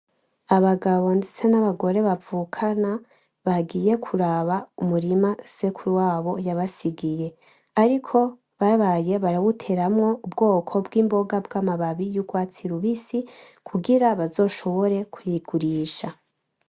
Abagabo ndetse n'abagore bavukana bagiye kuraba umurima sekuru wabo yabasigiye , ariko babaye barawuteramwo ubwoko bwimboga bwamababi y'urwatsi rubisi kugira bazoshobore kuyigurisha .